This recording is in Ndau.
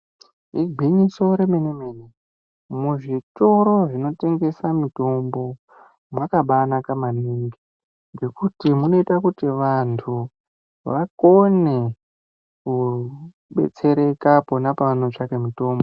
Igwinyiso remene mene muzvitoro zvinotengesa mitombo makabanaka maningi ngekuti munoita kuti vantu vakone kudetsereka pona pavanotsvaka mutombo.